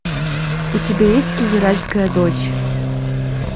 у тебя есть генеральская дочь